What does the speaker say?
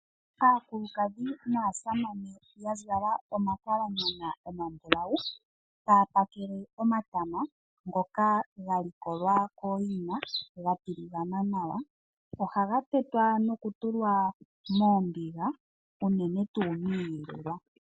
Aakulukadhi naasamane ya zala omakalanyana omambulawu, taapakale omatama ngoka ga likolwa kooyina gatiligana nawa, ohaga tetwa nokutulwa moombiga unene tuu miiyelelwa.